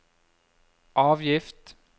avgift